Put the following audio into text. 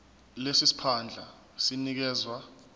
lesi siphandla sinikezwa